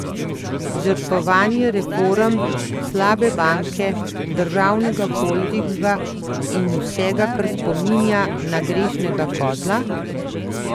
Žrtvovanje reform, slabe banke, državnega holdinga in vsega, kar spominja na grešnega kozla?